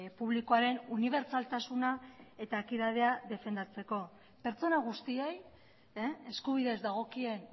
publikoaren unibertsaltasuna eta ekidadea defendatzeko pertsona guztiei eskubidez dagokien